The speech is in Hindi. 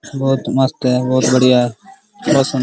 बहुत मस्त है बहुत बढ़िया है बहुत सुं --